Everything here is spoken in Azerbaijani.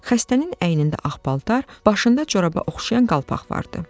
Xəstənin əynində ağ paltar, başında coraba oxşayan qalpax vardı.